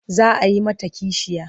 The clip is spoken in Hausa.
Za a yi mata kishiya.